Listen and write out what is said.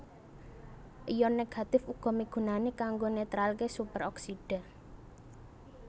Ion Négatif uga migunani kanggo netralké Superoksida